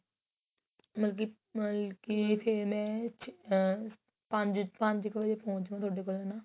ਮਤਲਬ ਕੀ ਫੇਰ ਮੈਂ ਆ ਪੰਜ ਕ ਵਜੇ ਪੋਹੁੰਚ ਜੂ ਤੁਹਾਡੇ ਕੋਲ ਹਨਾ